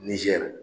Nizɛri